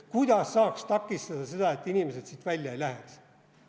Kuidas saaks takistada seda, et inimesed siit välja lähevad?